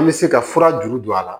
An bɛ se ka fura juru don a la